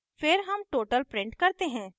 फिर हम total print करते हैं